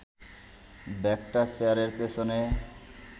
ব্যাগটা চেয়ারের পেছনে